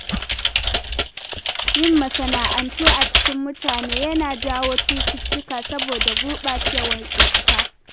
Yin masana'antu a cikin mutane yana jawo cututtuka saboda gurɓacewar iska.